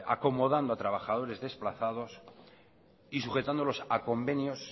acomodando a trabajadores desplazados y sujetándolos a convenios